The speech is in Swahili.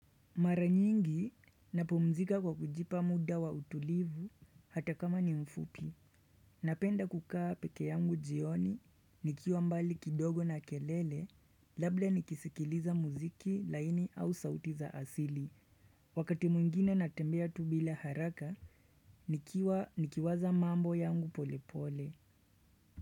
Mara nyingi napumzika kwa kujipa muda wa utulivu hata kama ni mfupi Napenda kukaa peke yangu jioni nikiwa mbali kidogo na kelele labda nikisikiliza muziki laini au sauti za asili Wakati mwingine natembea tu bila haraka nikiwa nikiwaza mambo yangu pole pole.